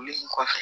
kɔfɛ